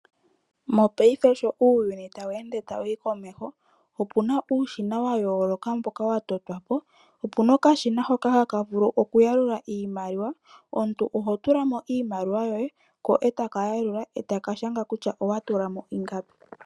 Mopaife sho uuyuni tawu ende wu uka komeho, opu na uushina wa yooloka mboka wa totwa po. Opu na okashina hoka haka vulu okuyalula iimaliwa. Omuntu oho tula mo iimaliwa yoye, ko e ta ka yaluka e ta ka shanga kutya owa tula mo ingapi.